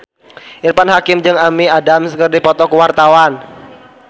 Irfan Hakim jeung Amy Adams keur dipoto ku wartawan